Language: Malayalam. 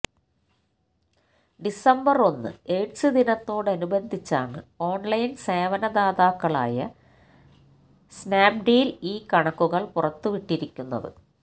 ഡിസംബർ ഒന്ന് എയ്ഡ്സ് ദിനത്തോട് അനുബന്ധിച്ചാണ് ഓൺലൈൻ സേവന ദാതാക്കളായ സ്നാപ്ഡീൽ ഈ കണക്കുകള് പുറത്തുവിട്ടിരിക്കുന്നത്